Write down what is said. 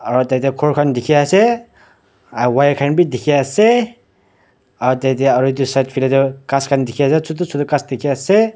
aro tai tey ghor khan dikey ase ah wire khan b dikey ase ah tey aro etu side faley toh gas khan b dike ase chuti chuti ghas dike ase.